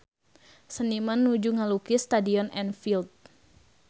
Seniman nuju ngalukis Stadion Anfield